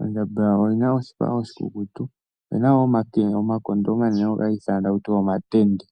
Ondjamba oyi na oshipa oshikukutu. Oyi na wo omakondo omanene ngoka haga ithanwa taku tiwa omatende.